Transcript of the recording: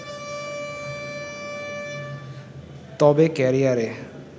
তবে ক্যারিয়ারে